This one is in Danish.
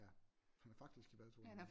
Ja han er faktisk i bad to gange om ugen